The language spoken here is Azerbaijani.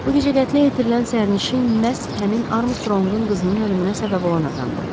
Bu gecə qətlə yetirilən sərnişin məhz həmin Armstronqun qızının ölümünə səbəb olan adamdır.